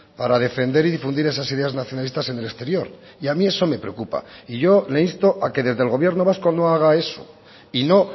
para defender y difundir esas ideas nacionalistas en el exterior y a mí eso me preocupa y yo le insto a que desde el gobierno vasco no haga eso y no